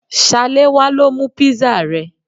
Salewa lo mu pizza rẹ